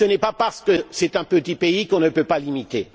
Ce n'est pas parce que c'est un petit pays qu'on ne peut pas l'imiter.